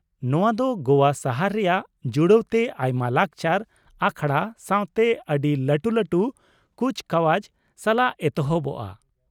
ᱱᱚᱶᱟ ᱫᱚ ᱜᱚᱣᱟ ᱥᱟᱦᱟᱨ ᱨᱮᱭᱟᱜ ᱡᱩᱲᱟᱹᱣ ᱛᱮ ᱟᱭᱢᱟ ᱞᱟᱠᱪᱟᱨ ᱟᱠᱷᱲᱟ ᱥᱟᱶᱛᱮ ᱟᱹᱰᱤ ᱞᱟᱹᱴᱩ ᱞᱟᱹᱴᱩ ᱠᱩᱪᱠᱟᱣᱟᱡ ᱥᱟᱞᱟᱜ ᱮᱛᱚᱦᱚᱵᱚᱜᱼᱟ ᱾